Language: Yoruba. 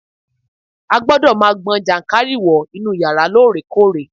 A gbọ́dọ̀ ma gbọn jànkárìwọ̀ inú yàrá lóòrèkóòrè